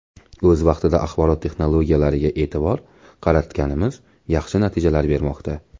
O‘z vaqtida axborot texnologiyalariga e’tibor qaratganimiz yaxshi natijalar bermoqda.